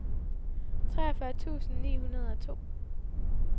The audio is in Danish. treogfyrre tusind ni hundrede og to